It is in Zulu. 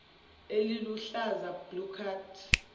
eliluhlaza blue card